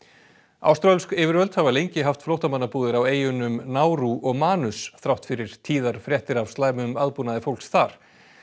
áströlsk yfirvöld hafa lengi haft flóttamannabúðir á eyjunum Nárú og þrátt fyrir tíðar fréttir af slæmum aðbúnaði fólks þar